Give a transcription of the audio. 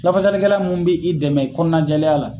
Lafasali kɛla mun bɛ i dɛmɛ kɔnɔna jɛlen ya la.